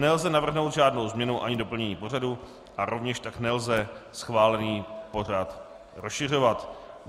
Nelze navrhnout žádnou změnu ani doplnění pořadu a rovněž tak nelze schválený pořad rozšiřovat.